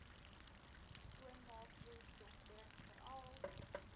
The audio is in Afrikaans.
skoonmaakvloeistof drink veral